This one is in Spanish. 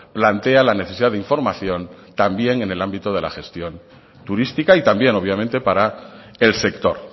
plantea la necesidad de información también en el ámbito de la gestión turística y también obviamente para el sector